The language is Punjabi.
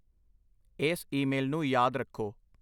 ਇਸ ਈਮੇਲ ਨੂੰ ਯਾਦ ਰੱਖੋ।